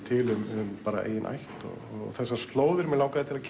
til um eigin ætt og þessar slóðir mig langaði að